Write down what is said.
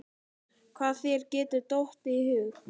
Hvað þér getur dottið í hug.